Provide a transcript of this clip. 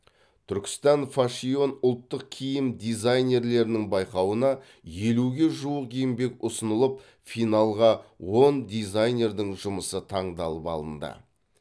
түркістан файшон ұлттық киім дизайнерлерінің байқауына елуге жуық еңбек ұсынылып финалға он дизайнердің жұмысы таңдалып алынды